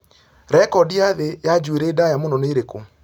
rekondi ya thĩ ya njuĩrĩ ndaya mũno mũtwe-inĩ ni iriku